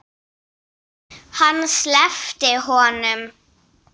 Hann sleppti honum!